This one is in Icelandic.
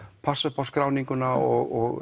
passa upp á skráninguna og